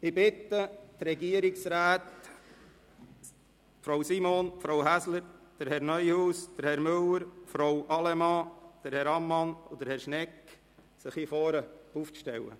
Ich bitte die Regierungsräte, Frau Simon, Frau Häsler, Herrn Neuhaus, Herrn Müller, Frau Allemann, Herrn Ammann und Herrn Schnegg, sich hier vorne hinzustellen.